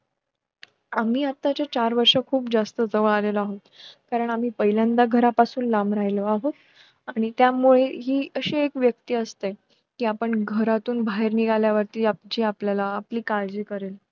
आम्ही आताचे चार वर्ष खुप जास्त जवळ आलेलो आहोत कारण आम्ही पहिल्यांदा घरा पासून लांब राहिलो आहोत आणि त्यामुळे हि अशी एक व्यक्ती असते कि आपण घरातून बाहेर निघाल्या वरती आमची आपल्याला आपली काळजी करेल